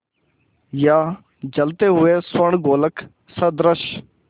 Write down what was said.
या जलते हुए स्वर्णगोलक सदृश